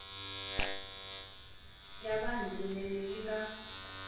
ya vanhu kunene yi nga